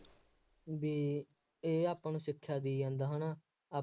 ਬਈ ਇਹ ਆਪਾਂ ਨੂੰ ਸਿੱਖਿਆ ਦੇਈ ਜਾਂਦਾ ਹੈ ਨਾ, ਆਪਾਂ